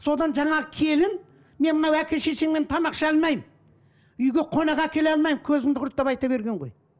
содан жаңағы келін мен мынау әке шешеңмен тамақ іше алмаймын үйге қонақ әкеле алмаймын көзіңді құрт деп айта берген ғой